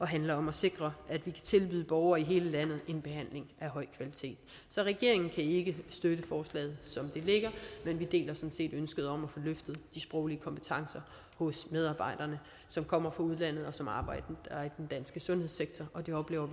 handler om at sikre at vi kan tilbyde borgere i hele landet en behandling af høj kvalitet så regeringen ikke støtte forslaget som det ligger men vi deler sådan set ønsket om at få løftet de sproglige kompetencer hos medarbejderne som kommer fra udlandet og som arbejder i sundhedssektor og vi oplever